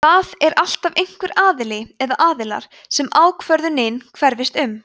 það er alltaf einhver aðili eða aðilar sem ákvörðunin hverfist um